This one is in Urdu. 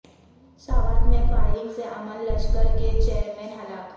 سوات میں فائرنگ سے امن لشکر کے چیئرمین ہلاک